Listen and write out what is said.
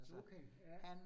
Okay ja